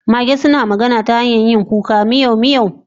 Mage suna magana ta hanyar yin kuka miyau miyau